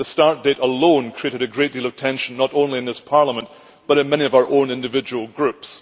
The start date alone created a great deal of tension, not only in this Parliament but also in many of our own individual groups.